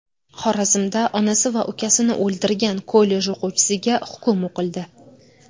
Xorazmda onasi va ukasini o‘ldirgan kollej o‘quvchisiga hukm o‘qildi.